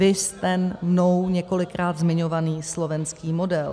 Viz ten mnou několikrát zmiňovaný slovenský model.